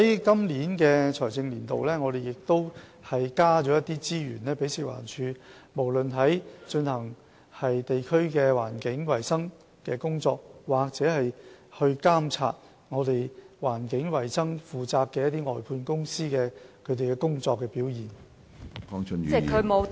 在本財政年度，我們亦增加資源給食環署，以便從事地區的環境衞生工作，或監察負責環境衞生的外判公司的工作表現。